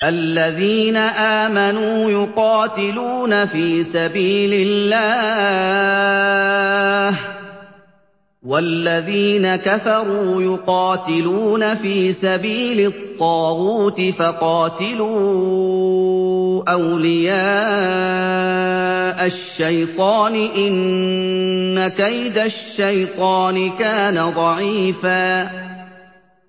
الَّذِينَ آمَنُوا يُقَاتِلُونَ فِي سَبِيلِ اللَّهِ ۖ وَالَّذِينَ كَفَرُوا يُقَاتِلُونَ فِي سَبِيلِ الطَّاغُوتِ فَقَاتِلُوا أَوْلِيَاءَ الشَّيْطَانِ ۖ إِنَّ كَيْدَ الشَّيْطَانِ كَانَ ضَعِيفًا